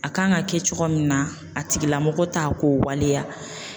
A kan ka kɛ cogo min na a tigilamɔgɔ t'a k'o waleya